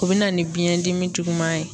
O be na ni biyɛn dimi juguman ye